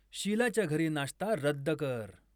शीलाच्या घरी नाश्ता रद्द कर